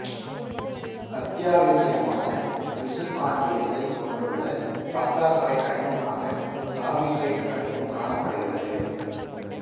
அத்தியாவசியமான இசுக்காண்டியத்தைக் கொண்டுள்ள பற்றாக்குறை கனிமமாக தாவிசைட்டு கனிமம் காணப்படுகிறது